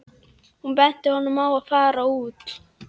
Hún benti honum á að fara út.